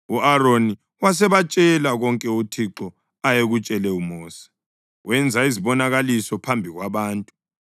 u-Aroni wasebatshela konke uThixo ayekutshele uMosi. Wenza lezibonakaliso phambi kwabantu,